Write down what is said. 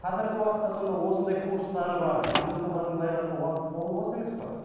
қазіргі уақытта сонда осындай курстар бар кондукторлардың былай қараса қолы бос емес қой